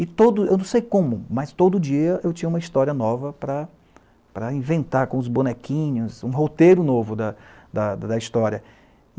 E todo... eu não sei como, mas todo dia eu tinha uma história nova para, para, inventar, com os bonequinhos, um roteiro novo da história.